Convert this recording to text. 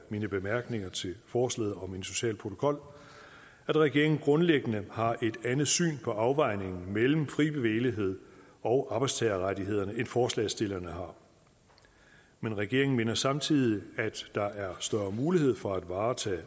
mine bemærkninger til forslaget om en social protokol at regeringen grundlæggende har et andet syn på afvejningen mellem fri bevægelighed og arbejdstagerrettighederne end forslagsstillerne har men regeringen mener samtidig at der er større mulighed for at varetage